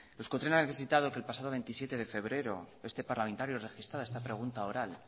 euskotren ha necesitado que el pasado veintisiete de febrero este parlamentario registrara esta pregunta oral